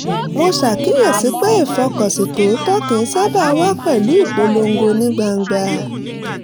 mo ṣàkíyèsi pé ìfọkànsìn tòótọ́ kì í sábà wá pẹ̀lú ìpolongo ní gbangba